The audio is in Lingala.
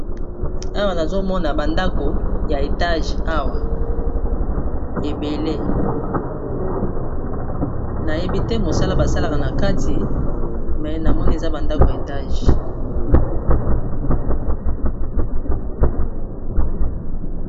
awa nazomona bandako ya etage awa ebele nayebi te mosala basalaka na kati me namoni eza bandako ya etage